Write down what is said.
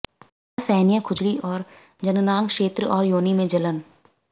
असहनीय खुजली और जननांग क्षेत्र और योनि में जलन